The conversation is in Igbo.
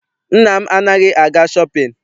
Nna m anaghị aga shọpịn.